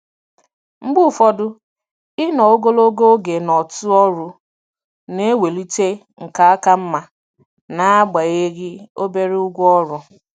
Mgbe ụfọdụ, ịnọ ogologo oge n'otu ọrụ na-ewulite nkà ka mma n'agbanyeghị obere ụgwọ ọrụ.